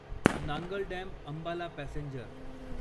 Nangal dam Ambala passenger